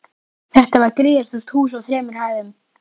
Þetta var gríðarstórt hús á þremur hæðum.